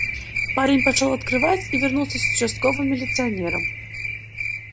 парень пошёл открывать и вернулся с участковым милиционером